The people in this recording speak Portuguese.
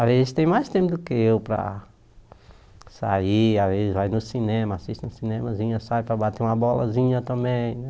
Às vezes tem mais tempo do que eu para sair, às vezes vai no cinema, assiste um cinemazinho, sai para bater uma bolazinha também.